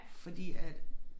Fordi at